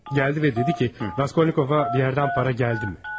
Bəli, gəldi və dedi ki, Raskolnikovun bir yerdən pul gəldimi?